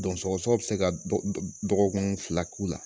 Dɔ sɔgɔsɔgɔ be se ka dɔgɔkun fila k'o la